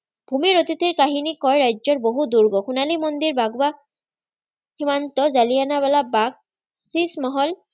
ভুমিৰ অতীতি কাহিনী কোৱাৰ ৰাজ্য বহু দূৰ্গম, সোণালী মন্দিৰ বাগৱা, সীমান্ত জালিৱানৱালা-বাগ, চিচ-মহল